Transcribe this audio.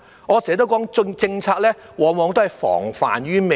我常說，政策須防患於未然。